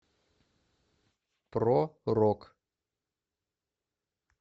про рок